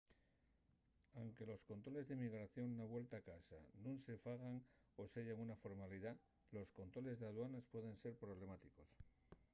anque los controles d’inmigración na vuelta a casa nun se fagan o seyan una formalidá los controles d’aduanes pueden ser problemáticos